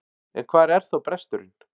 En hvar er þá bresturinn?